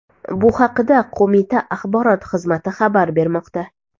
Bu haqda qo‘mita axborot xizmati xabar bermoqda.